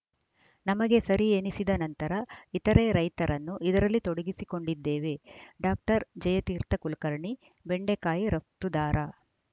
ನಮಗೆ ಸರಿ ಎನಿಸಿದ ನಂತರ ಇತರೆ ರೈತರನ್ನು ಇದರಲ್ಲಿ ತೊಡಗಿಸಿಕೊಂಡಿದ್ದೇವೆ ಡಾಕ್ಟರ್ ಜಯತೀರ್ಥ ಕುಲಕರ್ಣಿ ಬೆಂಡಕಾಯಿ ರಫ್ತುದಾರ